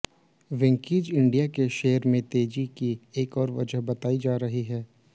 Venky's India के share में तेजी की एक और वजह बताई जा रही है